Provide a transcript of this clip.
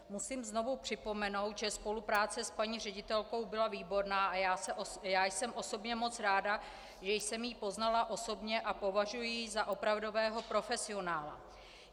Musím znovu připomenout, že spolupráce s paní ředitelkou byla výborná a já jsem osobně moc ráda, že jsem ji poznala osobně a považuji ji za opravdového profesionála.